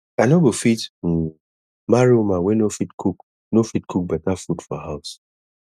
i no go fit um marry woman wey no fit cook no fit cook beta food for house